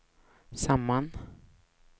samman